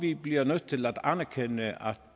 vi bliver nødt til at anerkende